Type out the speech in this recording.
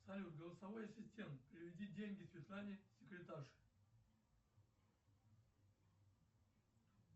салют голосовой ассистент переведи деньги светлане секретарше